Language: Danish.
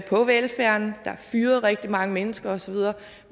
velfærden der er fyret rigtig mange mennesker osv